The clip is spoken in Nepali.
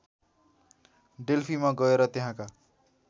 डेल्फीमा गएर त्यहाँका